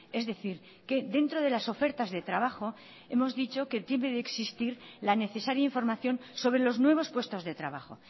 es decir que dentro de las ofertas de trabajo hemos dicho que debe de existir la necesaria información sobre los nuevos puestos de trabajo